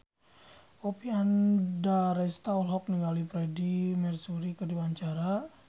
Oppie Andaresta olohok ningali Freedie Mercury keur diwawancara